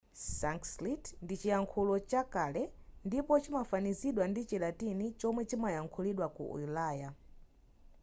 sanskrit ndi chiyankhulo chakale ndipo chimafanizidwa ndi chilatini chomwe chimayankhulidwa ku ulaya